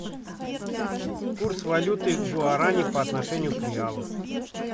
курс валюты гуарани по отношению к реалу